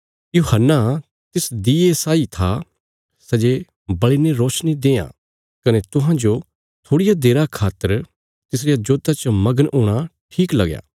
यूहन्ना तिस दिऊए साई था सै जे बल़िने रोशनी देआं कने तुहांजो थोड़िया देरा खातर तिसरिया जोता च मगन हूणा ठीक लगया